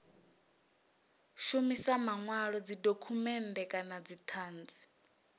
shumisa manwalo dzidokhumennde kana dzithanzi